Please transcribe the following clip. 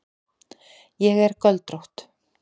Ég er göldrótt.